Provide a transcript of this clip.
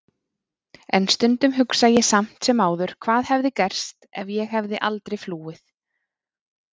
En stundum hugsa ég samt sem áður hvað hefði gerst ef ég hefði aldrei flúið.